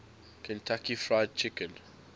kentucky fried chicken